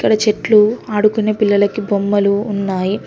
అక్కడ చెట్లు ఆడుకునే పిల్లలకి బొమ్మలు ఉన్నాయి.